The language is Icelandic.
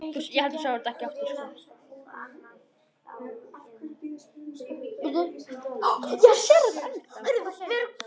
Það varð fátt um svör.